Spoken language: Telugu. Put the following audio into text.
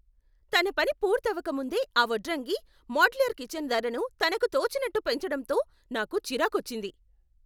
తన పని పూర్తవక ముందే ఆ వడ్రంగి మోడ్యులర్ కిచన్ ధరను తనకు తోచినట్టు పెంచడంతో నాకు చిరాకొచ్చింది.